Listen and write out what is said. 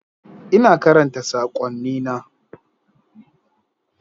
Ina karanta sakonnina.